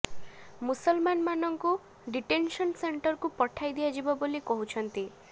ମୁସଲମାନ ମାନଙ୍କୁ ଡିଟେନସନ୍ ସେଣ୍ଟରକୁ ପଠାଇ ଦିଆଯିବ ବୋଲି କହୁଛନ୍ତି